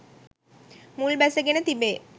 මුල් බැසගෙන තිබේ.